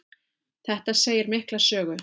Þetta segir mikla sögu.